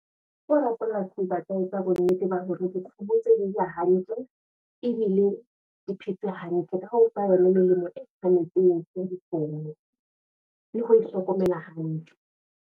Ke hore feela ke batla ho etsa bonnete ba hore dikgomo tseo dija hantle, ebile di phetse hantle, nka ofa yona melemo e tshwanetseng ya dikgomo, le ho hlokomela hantle.